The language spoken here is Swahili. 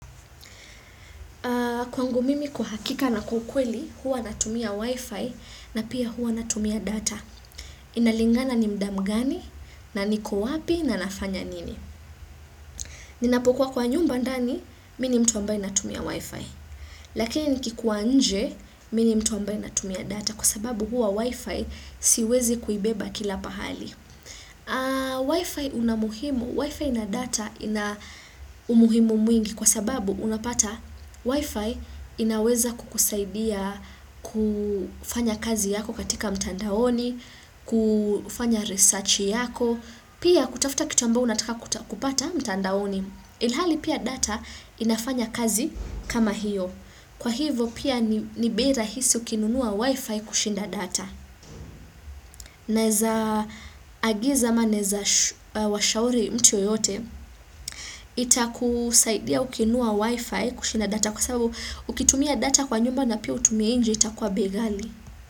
Kwangu mimi kuhakika na kukweli, huwa natumia wifi na pia huwa natumia data. Inalingana ni mda mgani na niko wapi na nafanya nini. Ninapukua kwa nyumba ndani, mi ni mtu ambaye natumia wifi. Lakini nikikuwa nje, mi ni mtu ambai natumia data kwa sababu huwa wifi siwezi kuibeba kila pahali. Wi-Fi unamuhimu, Wi-Fi na data ina umuhimu mwingi kwa sababu unapata Wi-Fi inaweza kukusaidia kufanya kazi yako katika mtandaoni, kufanya research yako, pia kutafuta kitu ambao unataka kupata mtandaoni. Ilhali pia data inafanya kazi kama hiyo. Kwa hivo pia ni bei rahisi ukinunua wifi kushinda data. Naeza agiza ama naeza washauri mtu yoyote ita kusaidia ukinua wifi kushinda data kwa sababu ukitumia data kwa nyumba na pia utumie inje ita kwa bei gali.